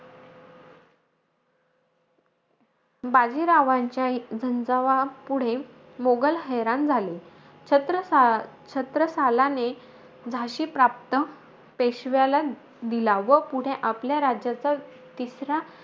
बाजीरावाच्या झंजावापुढे, मोघल हैराण झाले. छत्र छत्रसालाने, झाशी प्राप्त पेशव्याला दिला व पुढे आपल्या राज्याचा तिसरा,